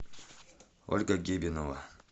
ольга гибинова